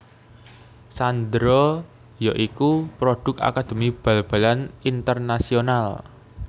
Sandro ya iku produk akademi bal balan Internacional